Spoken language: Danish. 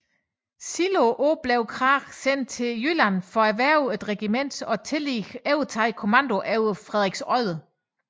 Senere på året blev Krag sendt til Jylland for at hverve et regiment og tillige overtage kommandoen over Frederiksodde